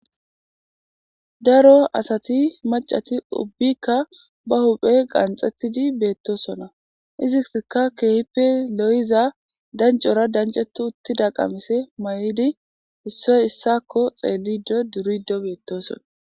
Daro asati macati ubbikka ba huphe qanxettidi beettosona izitka keehippe lo'iza dancora dancetu uttida qamise mayo'di issoy issakko xeellido durido beettosona.